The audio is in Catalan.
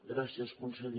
gràcies conseller